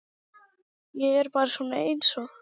Ég er bara svona einsog.